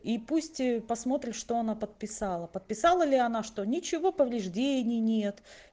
и пусть посмотрим что она подписала подписала ли она что ничего повреждений нет